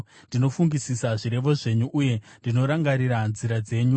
Ndinofungisisa zvirevo zvenyu, uye ndinorangarira nzira dzenyu.